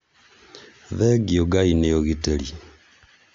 thengio ngai nĩ ugitĩri